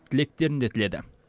тілектерін де тіледі